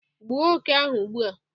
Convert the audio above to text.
Gbuo oke ahu ugbua